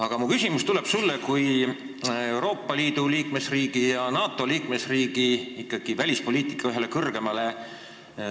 Aga mu küsimus tuleb sulle kui ühele Euroopa Liidu ja NATO liikmesriigi välispoliitika põhisuunajale.